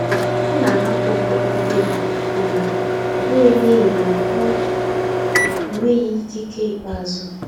Ọ na-ahapụ ụfọdụ mkpebi, mana ọ bụghị n’ihi na ọ nweghị ikike ikpeazụ.